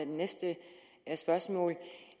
næste spørgsmål